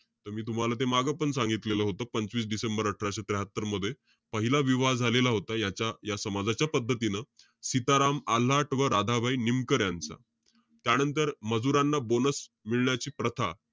त मी तुम्हाला ते मागं पण सांगितलेलं होतं. पंचवीस डिसेंबर अठराशे त्र्याहात्तर मध्ये. पहिला विवाह झालेला होता, त्याच्या या समाजच्या पद्धतीनं. शिताराम आल्हाट व राधाबाई निमकर यांचा. त्यानंतर, मजुरांना bonus मिळण्याची प्रथा,